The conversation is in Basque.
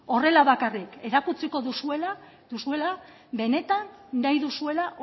horrela bakarrik erakutsiko duzuela benetan nahi duzuela